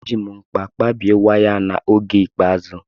Eji m nkpa kpabie waya ahụ n'oge ikpeazụ.